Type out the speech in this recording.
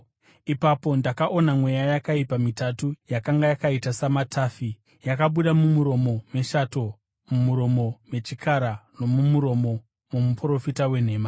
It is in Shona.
Ipapo ndakaona mweya yakaipa mitatu yakanga yakaita samatafi; yakabuda mumuromo meshato, mumuromo mechikara nomumuromo momuprofita wenhema.